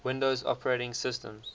windows operating systems